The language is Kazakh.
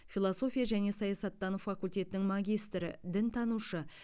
философия және саясаттану факультетінің магистрі дінтанушы